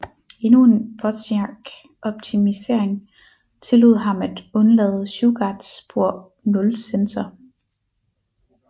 Endnu en Wozniak optimisering tillod ham at undlade Shugarts spor 0 sensor